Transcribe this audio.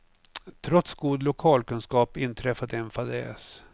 Trots god lokalkunskap inträffade en fadäs.